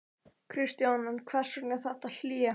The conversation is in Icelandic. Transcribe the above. Kristján: En hvers vegna þetta hlé?